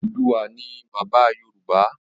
Odùduwà ni bàbá Yorùbá